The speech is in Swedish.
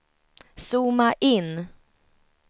zooma in